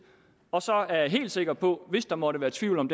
og så er jeg helt sikker på hvis der måtte være tvivl om